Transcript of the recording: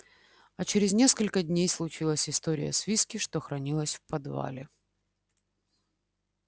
а через несколько дней случилась история с виски что хранилось в подвале